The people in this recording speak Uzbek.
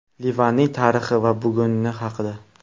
Livanning tarixi va buguni haqida.